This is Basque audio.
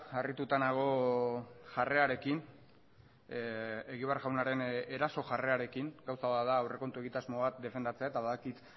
harrituta nago jarrerarekin egibar jaunaren eraso jarrerarekin gauza bat da aurrekontu egitasmo bat defendatzea eta badakit